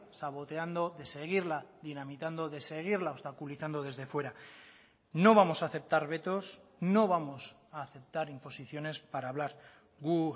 saboteando de seguirla dinamitando de seguirla obstaculizando desde fuera no vamos a aceptar vetos no vamos a aceptar imposiciones para hablar gu